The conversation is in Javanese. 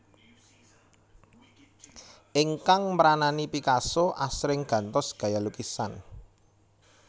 Ingkang mranani Picasso asring gantos gaya lukisan